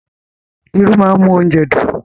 Irú máa ń mú oúnjẹ dùn.